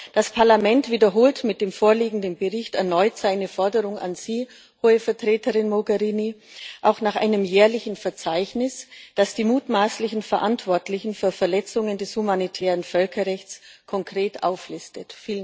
Das Parlament wiederholt mit dem vorliegenden Bericht erneut seine Forderung an Sie, Hohe Vertreterin Mogherini, auch nach einem jährlichen Verzeichnis, das die mutmaßlichen Verantwortlichen für Verletzungen des humanitären Völkerrechts konkret auflistet.